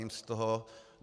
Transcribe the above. Cením si toho.